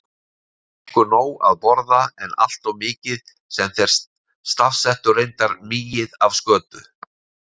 Þeir fengju nóg að borða, en alltof mikið- sem þeir stafsettu reyndar migið- af skötu.